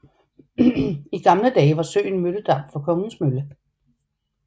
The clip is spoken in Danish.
I gamle dage var søen mølledam for Kongens Mølle